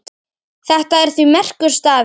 Þetta er því merkur staður.